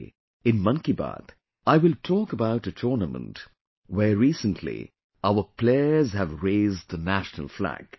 Today in 'Mann Ki Baat', I will talk about a tournament where recently our players have raised the national flag